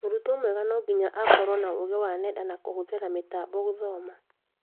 Mũrutwo mwega no nginya akorwo na ũgi wa nenda na kũhũthira mĩtambo gũthoma